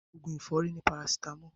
Oògùn ẹ̀fọ́rì ni paracetamol